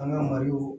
An ka mali